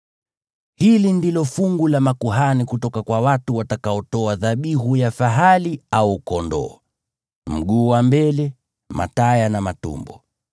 Hili ndilo fungu la makuhani kutoka kwa watu watakaotoa dhabihu ya fahali au kondoo: mguu wa mbele, mataya na matumbo.